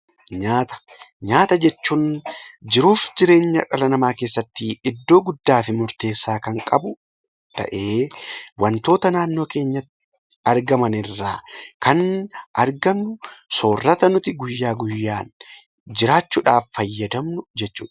Nyaata jechuun jiruuf jireenya dhala namaa keessatti iddoo guddaa fi murteessaa kan qabu ta'ee, wantoota naannoo keenyatti argaman irraa kan argannu, soorata nuti guyyaa guyyaan jiraachuudhaaf fayyadamnu jechuudha.